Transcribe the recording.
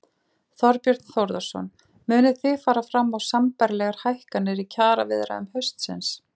Þorbjörn Þórðarson: Munið þið fara fram á sambærilegar hækkanir í kjaraviðræðum haustsins?